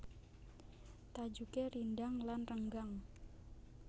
Tajuké rindhang lan renggang